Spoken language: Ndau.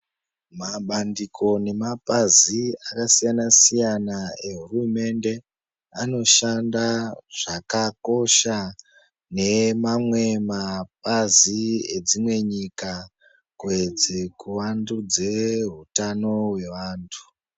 Mabandiko nemapazi akasiyana siyana ehurumende anoshanda zvakakosha nemamwe mabazi edzimwe nyika kuedze kuiwandudza hutano wevantu.